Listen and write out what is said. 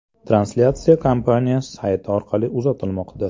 Translyatsiya kompaniya sayti orqali uzatilmoqda .